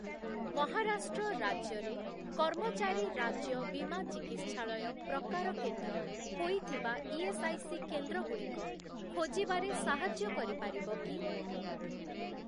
ମହାରାଷ୍ଟ୍ର ରାଜ୍ୟରେ କର୍ମଚାରୀ ରାଜ୍ୟ ବୀମା ଚିକିତ୍ସାଳୟ ପ୍ରକାର କେନ୍ଦ୍ର ହୋଇଥିବା ଇଏସ୍ଆଇସି କେନ୍ଦ୍ରଗୁଡ଼ିକ ଖୋଜିବାରେ ସାହାଯ୍ୟ କରିପାରିବ କି?